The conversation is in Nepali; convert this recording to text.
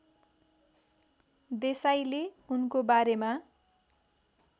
देसाईले उनको बारेमा